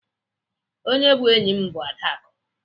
Onye bụ enyi m bụ Adaku.